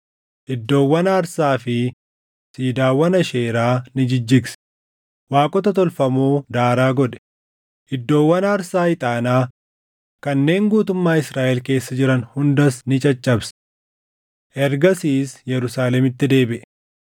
iddoowwan aarsaa fi siidaawwan Aasheeraa ni jijjigse; waaqota tolfamoo daaraa godhe; iddoowwan aarsaa ixaanaa kanneen guutummaa Israaʼel keessa jiran hundas ni caccabse. Ergasiis Yerusaalemitti deebiʼe.